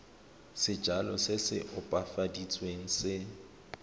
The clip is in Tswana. sejalo se se opafaditsweng se